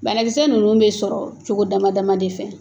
Banakisɛ ninnu bɛ sɔrɔ cogo dama dama de fɛ